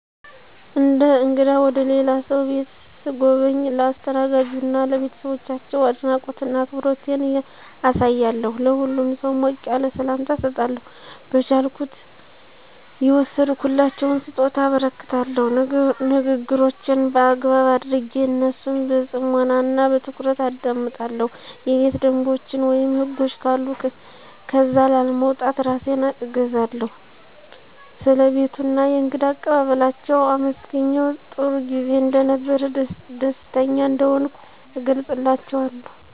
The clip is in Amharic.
እንደ እንግዳ ወደ ልላ ሰው ቤት ሰጎበኝ ለአስተናጋጁ እና ለቤተሰባቸው አድናቆት እና አክብሮቴን አሳያለሁ። ለሁሉም ሰው ሞቅ ያለ ሰላምታ እሰጣለሁ፣ በቻልኩት የወሰድኩላቸውን ሰጦታ አበረክታለሁ፣ ንግግሮቼን በአግባብ አደረጌ እነሱን በፅሞና እና በትኩረት አደምጣለሁ፣ የቤት ደንቦችን ወይም ህጎች ካሉ ከዛ ላለመውጣት እራሴን እገዛለሁ። ስለ ቤቱ እና የእንግዳ አቀባበላችው አመሰግኘ ጥሩጊዜ እንደነበረ ደስተኛ እንደሆንኩ እገለፅላችዋለሁ።